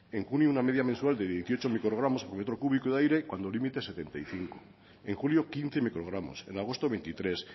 en junio una media mensual de dieciocho microgramos por metro cúbico de aire cuando el límite es setenta y cinco en julio quince microgramos en agosto veintitrés